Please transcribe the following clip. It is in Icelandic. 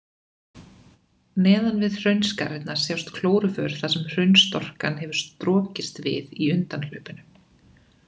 Neðan við hraunskarirnar sjást klóruför þar sem hraunstorkan hefur strokist við í undanhlaupinu.